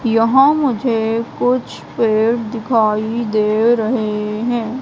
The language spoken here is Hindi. यहां मुझे कुछ पेड़ दिखाई दे रहे है।